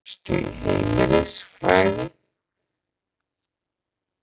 Varstu í heimilisfræði?